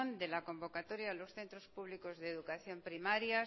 de la convocatoria de los centros públicos de educación primaria